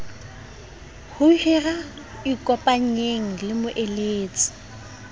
ho hira ikopanyeng le moeletsi